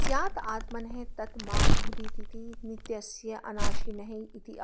स्यात् आत्मनः तत् मा भूदिति नित्यस्य अनाशिनः इत्याह